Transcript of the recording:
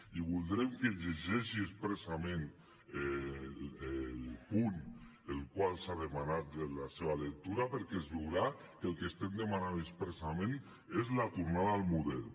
i voldrem que es llegeixi expressament el punt del qual s’ha demanat la seva lectura perquè es veurà que el que estem demanant expressament és la tornada al model